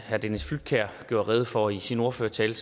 herre dennis flydtkjær gjorde rede for i sin ordførertale